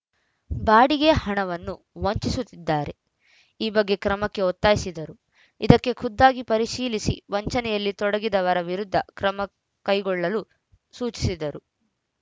ಬಾಡಿಗೆಯ ಹಣವನ್ನು ವಂಚಿಸುತ್ತಿದ್ದಾರೆ ಈ ಬಗ್ಗೆ ಕ್ರಮಕ್ಕೆ ಒತ್ತಾಯಿಸಿದರು ಇದಕ್ಕೆ ಖುದ್ದಾಗಿ ಪರಿಶೀಲಿಸಿ ವಂಚನೆಯಲ್ಲಿ ತೊಡಗಿದವರ ವಿರುದ್ಧ ಕ್ರಮ ಕೈಗೊಳ್ಳಲು ಸೂಚಿಸಿದರು